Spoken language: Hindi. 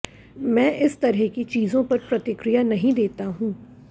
मैं इस तरह की चीजों पर प्रतिक्रिया नहीं देता हूं